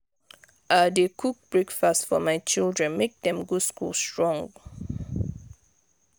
i dey cook breakfast for my children make dem go school strong.